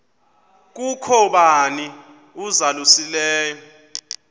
kukho bani uzalusileyo